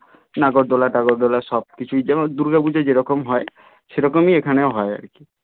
নাগরদোল্লা টাগোরদোল্লা সব কিছুই যেমন দূর্গা পুজোয় যেরকম হয় সে রকমই এখানেও হয় আর কি